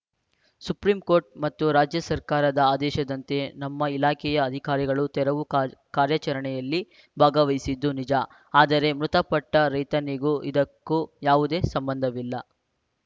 supreme court ಮತ್ತು ರಾಜ್ಯ ಸರ್ಕಾರದ ಆದೇಶದಂತೆ ನಮ್ಮ ಇಲಾಖೆಯ ಅಧಿಕಾರಿಗಳು ತೆರವು ಕಾರ್ ಕಾರ್ಯಾಚರಣೆಯಲ್ಲಿ ಭಾಗವಹಿಸಿದ್ದು ನಿಜ ಆದರೆ ಮೃತಪಟ್ಟರೈತನಿಗೂ ಇದಕ್ಕೂ ಯಾವುದೇ ಸಂಬಂಧವಿಲ್ಲ